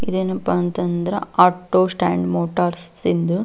ಇದೇನಪ್ಪ ಅಂತಂದ್ರ auto stand motors ಇಂದ್ --